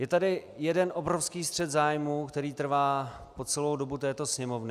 Je tu jeden obrovský střet zájmů, který trvá po celou dobu této Sněmovny.